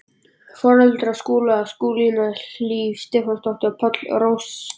Foreldrar Skúla, Skúlína Hlíf Stefánsdóttir og Páll Rósinkransson.